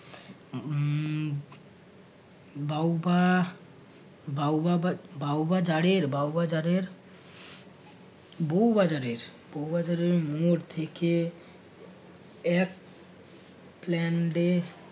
বাহুবা বহুবা বা~ বাউ বাজারের বাউ বাজারের বউ বাজারের বউ বাজারের মোড় থেকে এক plan day